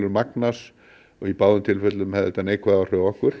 magnast og í báðum tilfellum hefði þetta neikvæð áhrif á okkur